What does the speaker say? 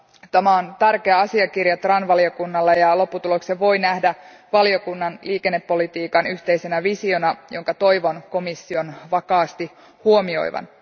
Tämä on tärkeä asiakirja TRAN valiokunnalle ja lopputuloksen voi nähdä valiokunnan liikennepolitiikan yhteisenä visiona, jonka toivon komission vakaasti huomioivan.